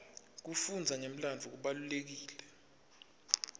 kufundza ngemlandvo kubalulekile